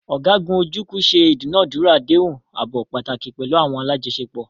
Ọ̀gágun Ojukwu ṣe ìdúnàádúrà àdéhùn ààbò pàtàkì pẹ̀lú àwọn alájọṣepọ̀.